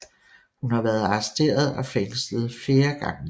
Hun har været arresteret og fængslet flere gange